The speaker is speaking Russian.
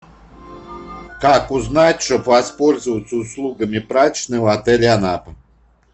как узнать чтоб воспользоваться услугами прачечной в отеле анапа